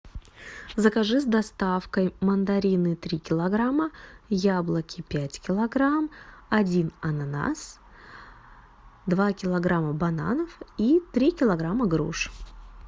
закажи с доставкой мандарины три килограмма яблоки пять килограмм один ананас два килограмма бананов и три килограмма груш